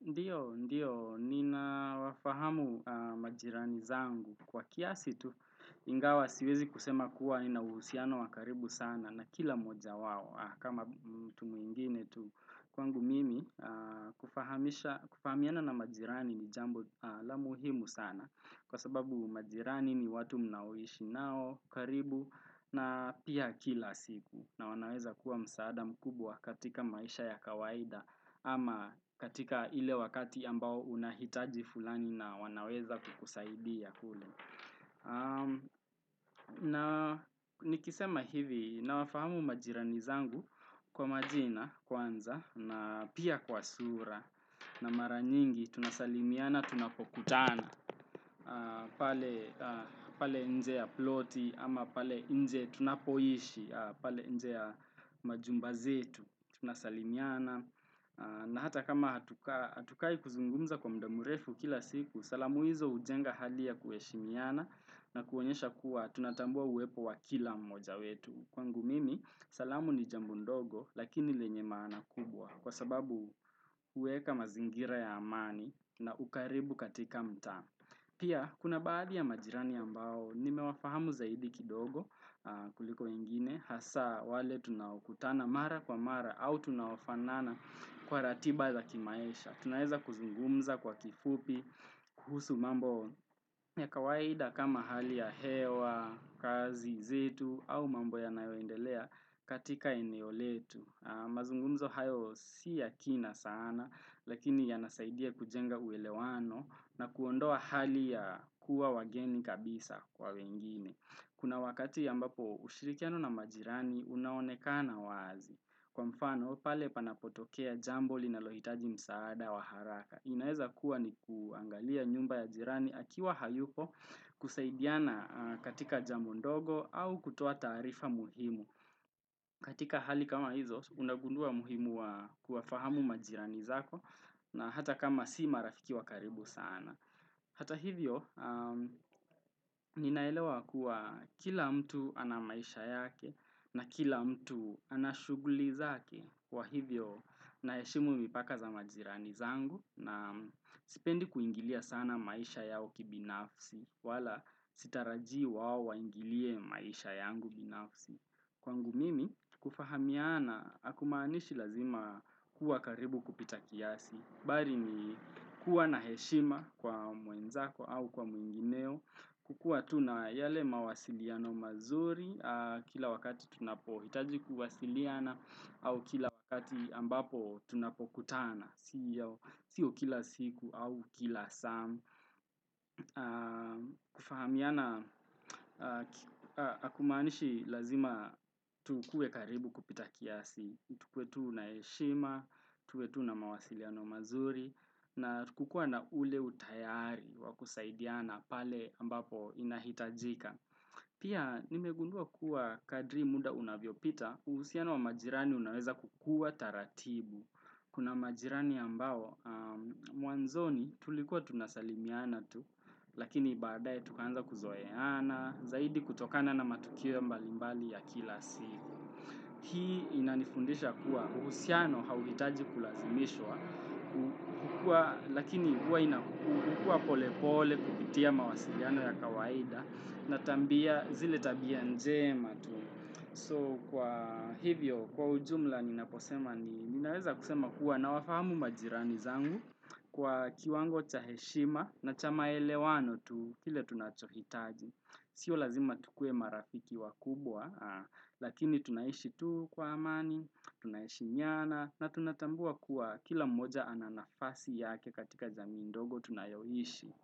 Ndiyo, ndiyo, ninawafahamu majirani zangu kwa kiasi tu ingawa siwezi kusema kuwa nina uhusiano wa karibu sana na kila moja wao kama mtu mwingine tu kwangu mimi kufahamiana na majirani ni jambo la muhimu sana kwa sababu majirani ni watu mnaoishi nao karibu na pia kila siku na wanaweza kuwa msaada mkubwa katika maisha ya kawaida ama katika ile wakati ambao unahitaji fulani na wanaweza kukusaidia kule na nikisema hivi nawafahamu majirani zangu kwa majina kwanza na pia kwa sura na mara nyingi tunasalimiana tunapokutana pale nje ya ploti ama pale nje tunapoishi pale nje ya majumba zetu tunasalimiana na hata kama hatukai kuzungumza kwa muda mrefu kila siku, salamu hizo hujenga hali ya kuheshimiana na kuonyesha kuwa tunatambua uwepo wa kila mmoja wetu. Kwangu mimi, salamu ni jambo ndogo lakini lenye maana kubwa kwa sababu huweka mazingira ya amani na ukaribu katika mtaa. Pia, kuna baadhi ya majirani ambao, nimewafahamu zaidi kidogo kuliko ingine, hasa wale tunaokutana mara kwa mara, au tunaofanana kwa ratiba za kimaisha. Tunaeza kuzungumza kwa kifupi, kuhusu mambo ya kawaida kama hali ya hewa, kazi, zetu, au mambo yanayoendelea katika eneo letu. Mazungumzo hayo si ya kina sana, lakini yanasaidia kujenga uelewano na kuondoa hali ya kuwa wageni kabisa kwa wengine. Kuna wakati ambapo ushirikiano na majirani, unaonekana wazi. Kwa mfano, pale panapotokea jambo linalohitaji msaada wa haraka. Inaeza kuwa ni kuangalia nyumba ya jirani akiwa hayupo kusaidiana katika jambo ndogo au kutoa taarifa muhimu. Katika hali kama hizo, unagundua muhimu wa kuwafahamu majirani zako na hata kama si marafiki wa karibu sana. Hata hivyo, ninaelewa kuwa kila mtu ana maisha yake na kila mtu ana shughuli zake kwa hivyo naheshimu mipaka za majirani zangu na sipendi kuingilia sana maisha yao kibinafsi wala sitaraji wao waingilie maisha yangu binafsi. Kwangu mimi, kufahamiana, hakumaanishi lazima kuwa karibu kupita kiasi. Bali ni kuwa na heshima kwa mwenzako au kwa mwengineo. Kukua tuna yale mawasiliano mazuri kila wakati tunapohitaji kuwasiliana au kila wakati ambapo tunapokutana. Sio kila siku au kila saa. Kufahamiana, hakumaanishi lazima tukue karibu kupita kiasi tukue tu na heshima, tukue tu na mawasiliano mazuri na kukua na ule utayari wa kusaidiana pale ambapo inahitajika Pia nimegundua kuwa kadri muda unavyopita uhusiano wa majirani unaweza kukua taratibu Kuna majirani ambao, mwanzoni tulikuwa tunasalimiana tu Lakini baadaye tukaanza kuzoeana, zaidi kutokana na matukio mbalimbali ya kila siku. Hii inanifundisha kuwa, uhusiano hauhitaji kulazimishwa, lakini huwa ina hukua pole pole kupitia mawasiliano ya kawaida, na zile tabia njema tu. So kwa hivyo, kwa ujumla ninaposema kuwa naeza wafahamu majirani zangu kwa kiwango cha heshima na cha maelewano tu kile tunachohitaji. Sio lazima tukue marafiki wakubwa, lakini tunaishi tu kwa amani, tunaishihemiana na tunatambua kuwa kila mmoja ana nafasi yake katika jamii ndogo tunayoishi.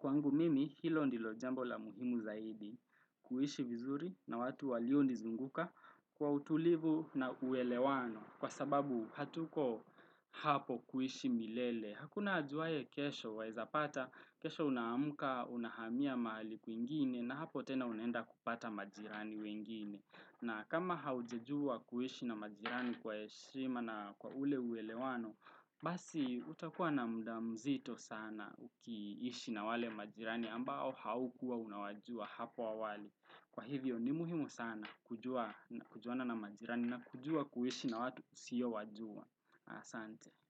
Kwangu mimi hilo ndilo jambo la muhimu zaidi kuishi vizuri na watu walio nizunguka kwa utulivu na uelewano kwa sababu hatuko hapo kuishi milele. Hakuna ajuaye kesho waezapata, kesho unaamka, unahamia mahali kwingine na hapo tena unaenda kupata majirani wengine. Na kama haujajua kuishi na majirani kwa heshima na kwa ule uelewano, basi utakuwa na muda mzito sana ukiishi na wale majirani ambao haukuwa unawajua hapo awali. Kwa hivyo ni muhimu sana kujua na kujuana na majirani na kujua kuishi na watu usiyowajua. Asante.